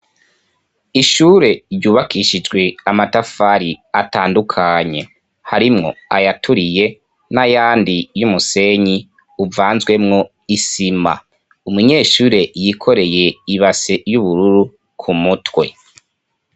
ishure ryubakishijwe amatafari atandukanye harimwo ayaturiye n'ayandi y'umusenyi uvanzwemwo isima umunyeshure yikoreye ibase y'ubururu ku mutwe